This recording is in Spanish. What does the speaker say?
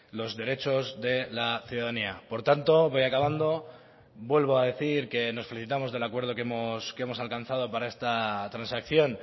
los derechos de la ciudadanía por tanto voy acabando vuelvo a decir que nos felicitamos del acuerdo que hemos alcanzado para esta transacción